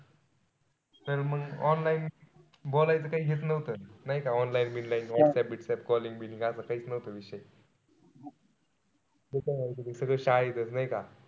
तर मंग online बोलायचं काई हेच नव्हतं. नाई का online व्हाट्सअप calling असा कैच नव्हता विषय. सगळं शाळेतच नाई का.